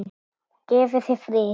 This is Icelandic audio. Og gefi þér frið.